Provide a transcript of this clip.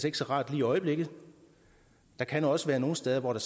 ikke så rart lige i øjeblikket der kan også være nogle steder hvor der